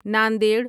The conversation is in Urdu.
ناندیڑ